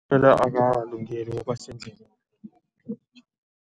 Akakalungeli ukuba sendleleni.